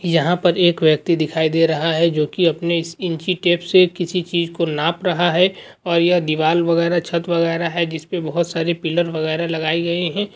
यहाँ पर एक व्यक्ति दिखाए दे रहा है जो की अपने इस इंची टेप से किसी चीज को नाप रहा है और यह दिवाल वगेरा छत वगेरा है जिसपे बहोत सारे पिलर वगेरा लगाई गई हैं।